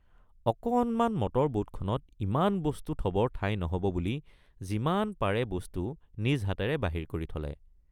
অকণমান মটৰ বোটখনত ইমান বস্তু থবৰ ঠাই নহব বুলি যিমান পাৰে বস্তু নিজ হাতেৰে বাহিৰ কৰি থলে।